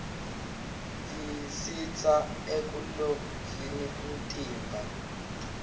tisista ekulolgnqfni umtimba